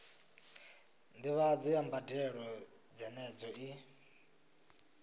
ndivhadzo ya mbadelo dzenedzo i